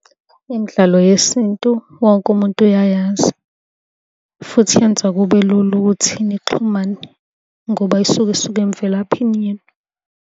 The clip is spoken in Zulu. Imidlalo yesintu wonke umuntu uyayazi, futhi yenza kube lula ukuthi nixhumane ngoba isuke isuka emvelaphini yenu.